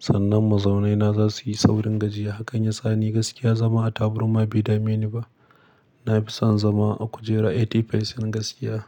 Sannan mazaunaina za su yi saurin gajiya. Hakan yasa ni gaskiya zama a taɓarma bai dame ni ba. Na fi son zama a kujera 80% gaskiya.